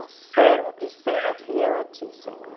Um servo que seja fiel a ti, Senhor.